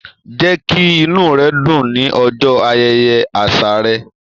Jẹ kí inú rẹ dùn l'ọjọ ayẹyẹ àṣà rẹ!